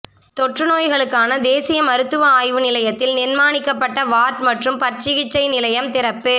தொற்றுநோய்களுக்கான தேசிய மருத்துவ ஆய்வு நிலையத்தில் நிர்மாணிக்கப்பட்ட வார்ட் மற்றும் பற்சிகிச்சை நிலையம் திறப்பு